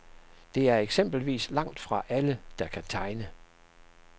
Det er eksempelvis langt fra alle, der kan tegne.